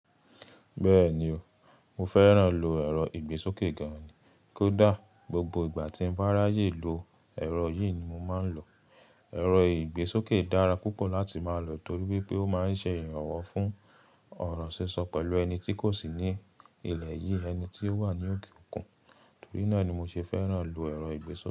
Bẹ́ẹ̀ni o, mo fẹ́ràn lo ẹ̀rọ ìgbésókè gan-an ni. Kódà gbogbo ìgbà tí n bá ráyè lo ẹ̀rọ yìí ni mo máa ń lò. Erọ ìgbésókè dára púpọ̀ láti máa lò torí wípé ó máa ń ṣe ìrànwọ́ fún ọ̀rọ̀ sísọ pẹ̀lú ẹni tí kò sí ní ilẹ̀ yìí, ẹni tí ó wà ní òkè òkun. Torí náà ni mo ṣe fẹ́ràn lo ẹ̀rọ ìgbésókè.